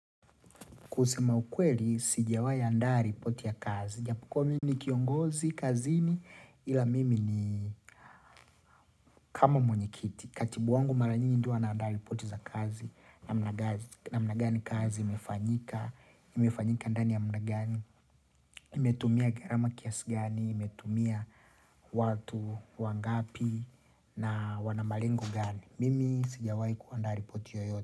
Kusema ukweli, sijawai andaa ripoti ya kazi. Japo kuwa mimi ni kiongozi kazini ila mimi ni kama mwenyikiti. Katibu wangu mara nyingi ndio huwa anaanda ripoti za kazi namna gani kazi, imefanyika, imefanyika ndani ya muda gani, imetumia gharama kiasi gani, imetumia watu wangapi na wana malengo gani. Mimi sijawai kuandaa ripoti yoyote.